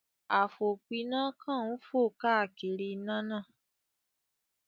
Àfòpiná kan ń fò káàkiri iná náà